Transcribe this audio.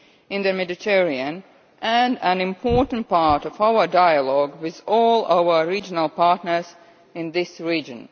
in the Mediterranean and an important part of our dialogue with all our regional partners in this region.